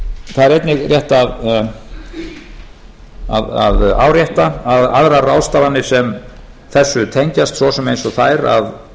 það er einnig rétt að árétta að aðrar ráðstafanir sem þessu tengjast svo sem eins og þær að